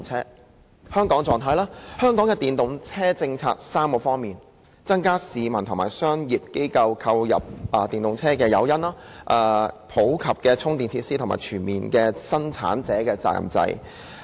在香港，我們的電動車政策分為3方面：增加市民和商業機構購入電動車的誘因、普及充電設施，以及全面實施生產者責任制。